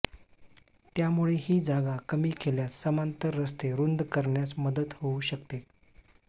त्यामुळे ही जागा कमी केल्यास समांतर रस्ते रुंद करण्यास मदत होऊ शकते